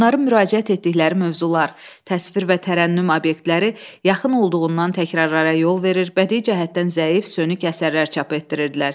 Onların müraciət etdikləri mövzular, təsvir və tərənnüm obyektləri yaxın olduğundan təkrarlara yol verir, bədii cəhətdən zəif, sönük əsərlər çap etdirirdilər.